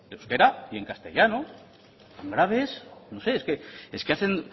en euskera y en castellano tan grave es es que hacen